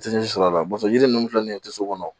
Tɛ ji sɔrɔ a la yiri ninnu filɛ nin ye toso kɔnɔ